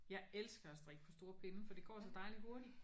Jeg elsker at strikke på store pinde for det går så dejligt hurtigt